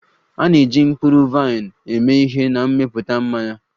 A na-eji mkpụrụ vaịn eme ihe na mmepụta mmanya